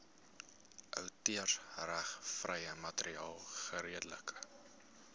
outeursregvrye materiaal geredelik